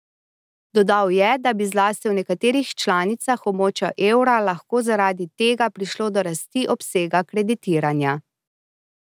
Dodal je, da bi zlasti v nekaterih članicah območja evra lahko zaradi tega prišlo do rasti obsega kreditiranja.